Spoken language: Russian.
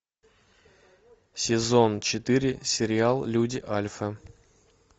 сезон четыре сериал люди альфа